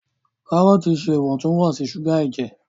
Karọọti ṣe Iwontun-wonsi suga ẹjẹ.